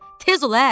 Tez ol ə.